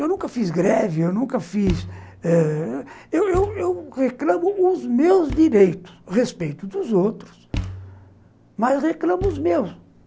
Eu nunca fiz greve, eu nunca fiz eh, eu não não, reclamo dos meus direitos, respeito dos outros, mas reclamo os meus.